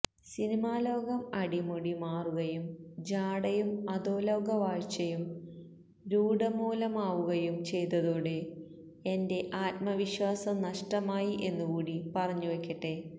സിനിമാലോകം അടിമുടി മാറുകയും ജാടയും അധോലോക വാഴ്ചയും രൂഢമൂലമാവുകയും ചെയ്തതോടെ എന്റെ ആത്മവിശ്വസം നഷ്ടമായി എന്നുകൂടി പറഞ്ഞുവെക്കട്ടെ